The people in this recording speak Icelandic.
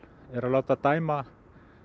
er að láta dæma